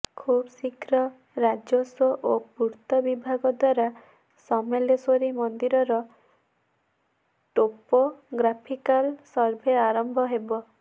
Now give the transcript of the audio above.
ଖୁବ୍ ଶୀଘ୍ର ରାଜସ୍ୱ ଓ ପୂର୍ତ୍ତ ବିଭାଗ ଦ୍ୱାରା ସମଲେଶ୍ୱରୀ ମନ୍ଦିରର ଟୋପୋଗ୍ରାଫିକାଲ ସର୍ଭେ ଆରମ୍ଭ ହେବ